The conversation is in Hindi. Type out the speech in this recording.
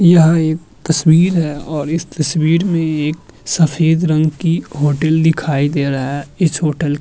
यह एक तस्वीर है और इस तस्वीर में एक सफेद रंग की होटिल दिखाई दे रहा है। इस होटल --